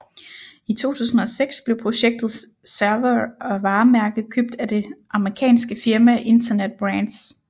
I 2006 blev projektets servere og varemærke købt af det amerikanske firma Internet Brands